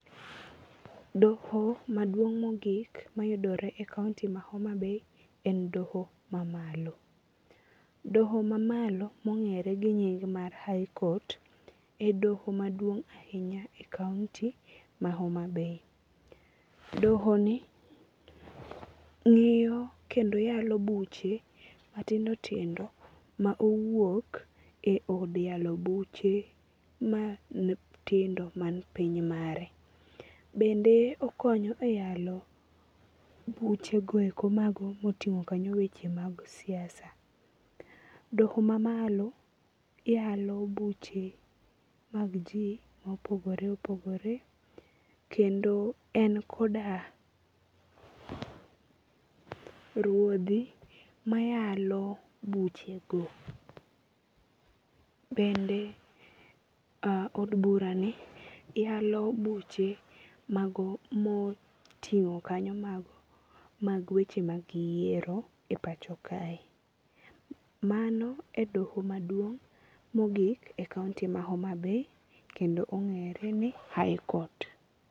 Doho maduong' mogik mayudore e kaonti ma Homabay en doho mamalo. Doho mamalo mong'ere gi nying mar high court e doho maduong' ahinya e kaonti ma Homabay. Dohoni ng'iyo kendo yalo buche matindo tindo ma owuok e od yalo buche matindo man piny mare. Bende okonyo e yalo buchego eko moting'o weche mag siasa. Doho mamalo yalo buche mag ji mopogore opogore kendo en koda ruodhi mayalo buchego. Bende od burani yalo buche mago moting'o kanyo mag weche mag yiero e pacho kae. Mano e doho maduong' mogik e kaonti ma Homabay kendo ong'ere ni high court.